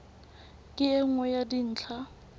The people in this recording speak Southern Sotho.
ke e nngwe ya dintlha